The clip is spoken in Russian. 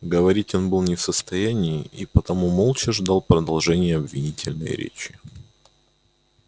говорить он был не в состоянии и потому молча ждал продолжения обвинительной речи